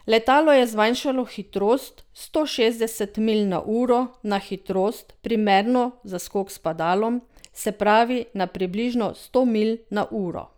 Letalo je zmanjšalo hitrost s sto šestdeset milj na uro na hitrost, primerno za skok s padalom, se pravi na približno sto milj na uro.